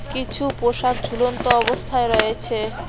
কিছু পোষাক ঝুলন্ত অবস্থায় রয়েছে।